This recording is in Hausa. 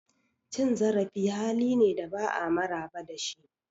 Cin zarafi hali ne da ba'a maraba da shi.